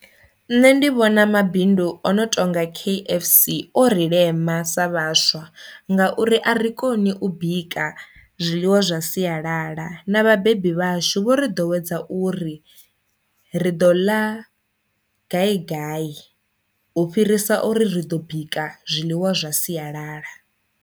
Nṋe ndi vhona mabindu ono tonga kfc o ri lema sa vhaswa ngauri a ri koni u bika zwiḽiwa zwa sialala, na vhabebi vhashu vho ri ḓo wedza uri ri ḓo ḽa gai gai u fhirisa uri ri ḓo bika zwiḽiwa zwa siyalala.